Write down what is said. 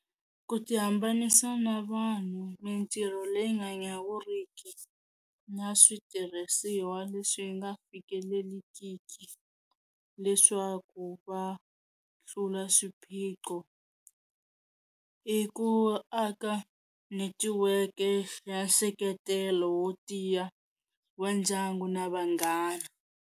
Ku ti hambanisa na vanhu mintirho leyi nga nyawuriki na switirhisiwa leswi nga fikelelikiki leswaku va tlula swiphiqo i ku aka netiweke ya nseketelo wo tiya wa ndyangu na vanghana.